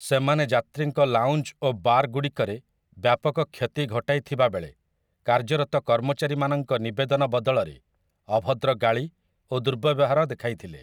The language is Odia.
ସେମାନେ ଯାତ୍ରୀଙ୍କ ଲାଉଞ୍ଜ୍ ଓ ବାର୍ ଗୁଡ଼ିକରେ ବ୍ୟାପକ କ୍ଷତି ଘଟାଇଥିବାବେଳେ, କାର୍ଯ୍ୟରତ କର୍ମଚାରୀ ମାନଙ୍କ ନିବେଦନ ବଦଳରେ ଅଭଦ୍ର ଗାଳି ଓ ଦୁର୍ବ୍ୟବହାର ଦେଖାଇଥିଲେ ।